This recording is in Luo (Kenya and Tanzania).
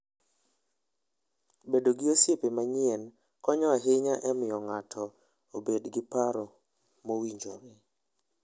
Bedo gi osiepe manyien konyo ahinya e miyo ng'ato obed gi paro mowinjore.